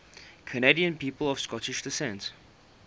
canadian people of scottish descent